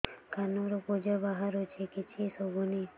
କାନରୁ ପୂଜ ବାହାରୁଛି କିଛି ଶୁଭୁନି